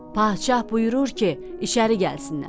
Padşah buyurur ki, içəri gəlsinlər.